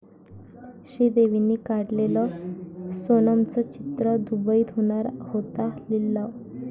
श्रीदेवींनी काढलेलं सोनमचं चित्र, दुबईत होणार होता लिलाव